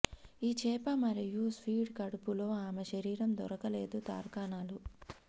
ఈ చేప మరియు స్క్విడ్ కడుపులో ఆమె శరీరం దొరకలేదు తార్కాణాలు